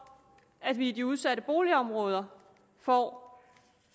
at vi i de udsatte boligområder får